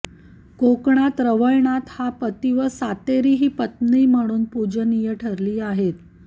कोकणात रवळनाथ हा पती व सातेरी ही पत्नी म्हणून पुजनीय ठरली आहेत